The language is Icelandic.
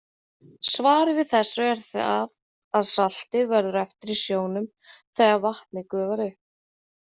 Svarið við þessu er það að saltið verður eftir í sjónum þegar vatnið gufar upp.